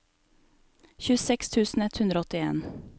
tjueseks tusen ett hundre og åttien